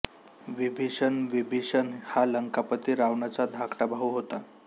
विभीषण बिभीषण हा लंकापती रावणाचा धाकटा भाऊ होता